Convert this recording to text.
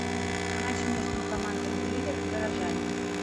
матч между командами ливер горожане